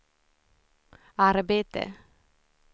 arbete